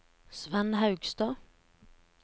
Svend Haugstad